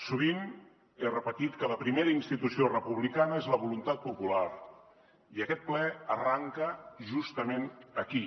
sovint he repetit que la primera institució republicana és la voluntat popular i aquest ple arrenca justament aquí